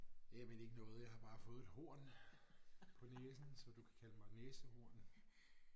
Jamen ikke noget jeg har bare fået et horn på næsen så du kan kalde mig et næsehorn